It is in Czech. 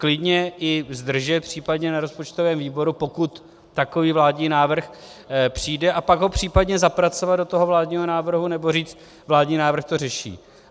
Klidně i zdržet případně na rozpočtovém výboru, pokud takový vládní návrh přijde, a pak ho případně zapracovat do toho vládního návrhu, nebo říct "vládní návrh to řeší".